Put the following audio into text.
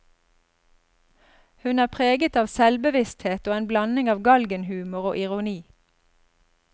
Hun er preget av selvbevissthet og en blanding av galgenhumor og ironi.